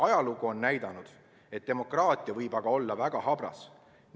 Ajalugu on aga näidanud, et demokraatia võib olla väga habras.